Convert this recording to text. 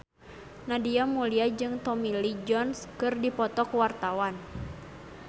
Nadia Mulya jeung Tommy Lee Jones keur dipoto ku wartawan